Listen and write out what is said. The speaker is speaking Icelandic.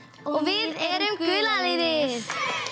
við erum gula liðið